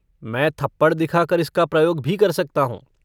मैं थप्पड़ दिखाकर इसका प्रयोग भी कर सकता हूँ।